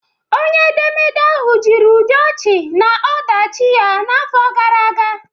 Onye edemede ahụ jiri ụdị ochi na ọdachi ya n'afọ gara aga